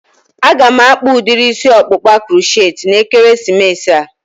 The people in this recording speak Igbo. A ga m akpa udiri isi ọkpụkpa crochetti na ekeresimesi a